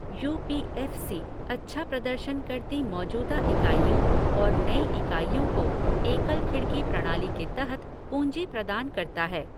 You P F C अच्छा प्रदर्शन करती मौजूदा इकाइयों और नई इकाइयों को एकल खिड़की प्रणाली के तहत पूँजी प्रदान करता है।